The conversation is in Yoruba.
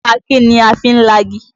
Àáké ni a fi ń lagi.